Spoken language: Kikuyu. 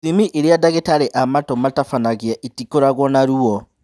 Ithimi irĩa ndagĩtarĩ a matũ matabanagia itikoragwo na ruo